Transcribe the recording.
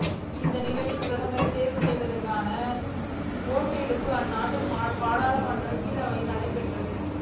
இந்த நிலையில் பிரதமரை தேர்வு செய்வதற்கான ஓட்டெடுப்பு அந்நாட்டு பாராளுமன்றத்தின் கீழவையில் நடைபெற்றது